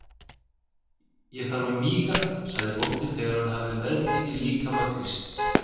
Ég þarf að míga, sagði bóndinn þegar hann hafði meðtekið líkama Krists.